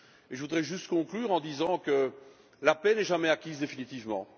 Je voudrais juste conclure en disant que la paix n'est jamais acquise définitivement.